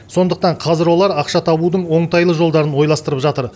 сондықтан қазір олар ақша табудың оңтайлы жолдарын ойластырып жатыр